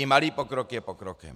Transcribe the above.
I malý pokrok je pokrokem.